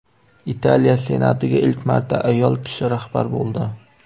Italiya senatiga ilk marta ayol kishi rahbar bo‘ldi.